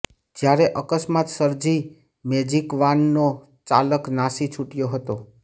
જ્યારે અકસ્માત સર્જી મેજીકવાનનો ચાલક નાસી છૂટયો હતો